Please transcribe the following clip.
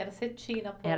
Era cetim na